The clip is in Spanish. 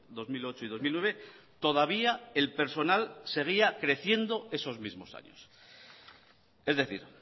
dos mil ocho y dos mil nueve todavía el personal seguía creciendo esos mismos años es decir